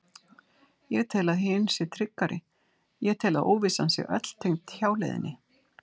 Ég tel að hin sé tryggari, ég tel að óvissan sé öll tengd hjáleiðinni.